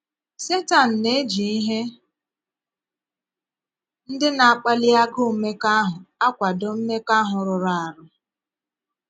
Setan na - eji ihe ndị na - akpàlí agụụ̀ mmekọahụ akwàdò mmekọahụ̀ rụrụ̀ arụ.